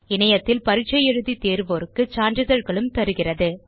இணையத்தில் பரிட்சை எழுதி தேர்வோருக்கு சான்றிதழ்களும் தருகிறது